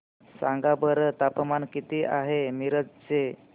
सांगा बरं तापमान किती आहे मिरज चे